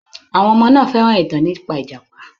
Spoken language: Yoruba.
Àwọn ọmọ náà fẹ́ràn ìtàn nípa ìjàpá.